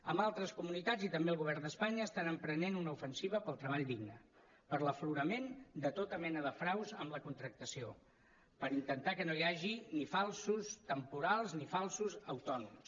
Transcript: en altres comunitats i també el govern d’espanya estan emprenent una ofensiva pel treball digne per l’aflorament de tota mena de fraus en la contractació per intentar que no hi hagi ni falsos temporals ni falsos autònoms